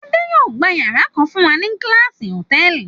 Adé yóò gba ìyàrá kan fún wa ní Class Hòtẹ́ẹ́lì.